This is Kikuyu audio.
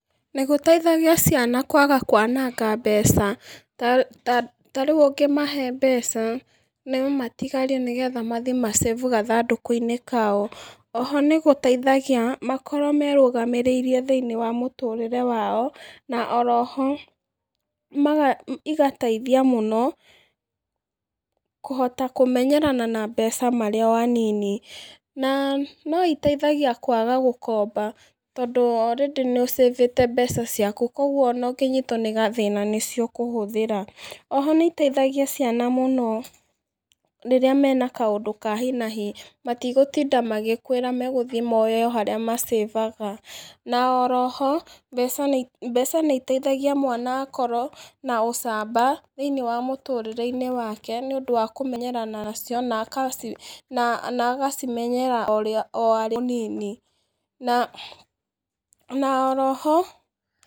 Nĩgũteithagia ciana kwaga kwananga mbeca, ta ta tarĩu ũngĩmahe mbeca, nomatigari nĩgetha mathi ma save gathandũkũ-inĩ kao, oho nĩgũteithagia, makorwo merũgamĩrĩire thĩiniĩ wa mũtũrĩre wao, na oro ho, igateithia mũno, kũhota kũmenyerana na mbeca marĩ o anini, na, noiteithagia kwaga gũkomba, tondú orĩndĩ nĩũcĩbĩte mbeca ciaku, koguo ona ũngĩnyitwo nĩ gathĩna nĩcio ũkũhũthĩra, oho nĩiteithagia ciana mũno rĩrĩa mena kaũndũ ka hinahi matigũtinda magĩkwĩra megũthi moe o harĩa macĩbaga, na oro ho, mbeca nĩ mbeca nĩiteithagia mwana akorwo na ũcamba thĩiniĩ wa mũtũrĩre-inĩ wake, nĩũndũ wa kũmenyerana nacio naka na agacimenyera orĩa o arĩ mũnini, na oro ho...